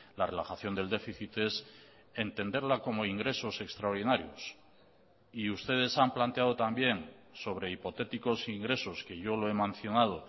la relajación del déficit es entenderla como ingresos extraordinarios y ustedes han planteado también sobre hipotéticos ingresos que yo lo he mencionado